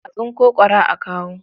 A tsinko ƙwara a kawo.